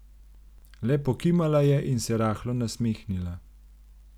Le pokimala je in se rahlo nasmehnila.